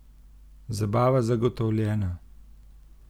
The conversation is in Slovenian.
Zabava zagotovljena!